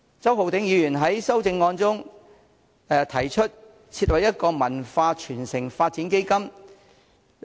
周浩鼎議員在修正案中提出設立一項"文化傳承發展基金"。